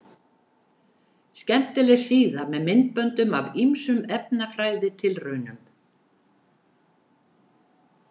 Skemmtileg síða með myndböndum af ýmsum efnafræðitilraunum.